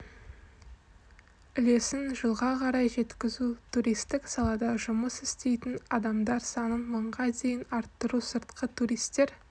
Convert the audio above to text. үлесін жылға қарай жеткізу туристік салада жұмыс істейтін адамдар санын мыңға дейін арттыру сыртқы туристер